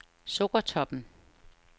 Sukkertoppen